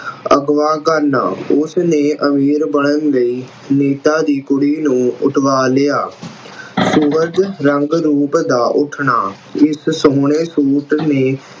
ਅਗਵਾ ਕਰਨਾ, ਉਸਨੇ ਅਮੀਰ ਬਣਨ ਲਈ ਨੀਤਾ ਦੀ ਕੁੜੀ ਨੂੰ ਉੱਠਵਾ ਲਿਆ। ਰੰਗ-ਰੂਪ ਦਾ ਉੱਠਣਾ ਇਸ ਸੋਹਣੇ suit ਨੇ